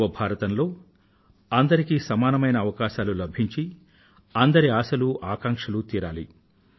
నవ భారతం లో అందరికీ సమానమైన అవకాశాలు లభించి అందరి ఆశలు ఆకాంక్షలు తీరాలి